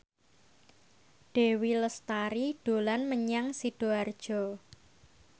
Dewi Lestari dolan menyang Sidoarjo